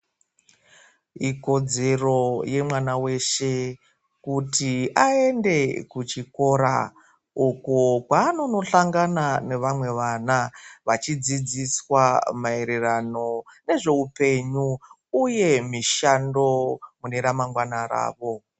Ikodzero yemwana weshe kuti aende kuchikora uku kwaanonohlangana nevamwe vana vachidzidziswa maererano nezveupenyu uye mishando mune ramangwana ravo.